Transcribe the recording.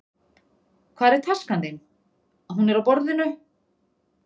Hvar er taskan þín? Hún er á borðinu.